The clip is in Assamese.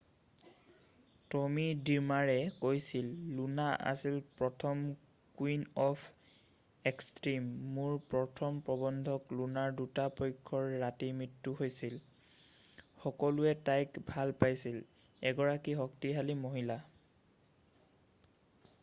"টমি ড্ৰিমাৰে কৈছিল "লুনা আছিল প্ৰথম কুইন অফ এক্সট্ৰিম। মোৰ প্ৰথম প্ৰবন্ধক লুনাৰ দুটা পক্ষৰ ৰাতি মৃত্যু হৈছিল। সকলোৱে তাইক ভাল পাইছিল। এগৰাকী শক্তিশালী মহিলা।""